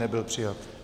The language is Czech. Nebyl přijat.